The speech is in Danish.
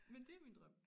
Men det min drøm